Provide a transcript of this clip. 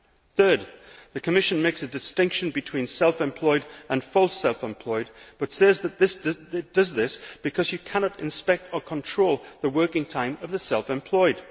Thirdly, the Commission makes a distinction between self employed and false' self employed, and says it does this because you cannot inspect or control the working time of the self employed.